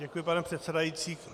Děkuji, pane předsedající.